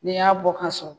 N'i y'a bɔ ka so